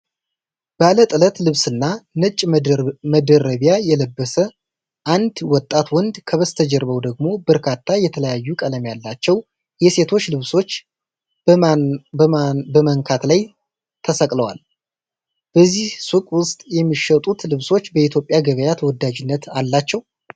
ባለጥለት ልብስና ነጭ መደረቢያ የለበሰ አንድ ወጣት ወንድ፣ ከበስተጀርባው ደግሞ በርካታ የተለያዩ ቀለም ያላቸው የሴቶች ልብሶች በማነኳን ላይ ተሰቅለዋል። በዚህ ሱቅ ውስጥ የሚሸጡት ልብሶች በኢትዮጵያ ገበያ ተወዳጅነት አላቸው?